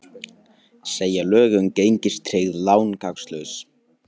Segja lög um gengistryggð lán gagnslaus